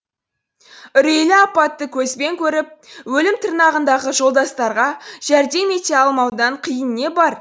үрейлі апатты көзбен көріп өлім тырнағындағы жолдастарға жәрдем ете алмаудан қиын не бар